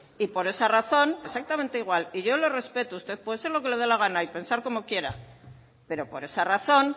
y por esa razón exactamente igual y yo le respeto usted puede ser lo que le dé la gana y pensar como quiera pero por esa razón